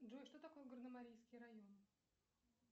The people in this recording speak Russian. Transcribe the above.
джой что такое горно марийский район